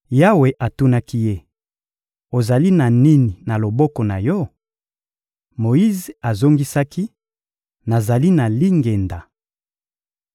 Yawe atunaki ye: — Ozali na nini na loboko na yo? Moyize azongisaki: — Nazali na lingenda.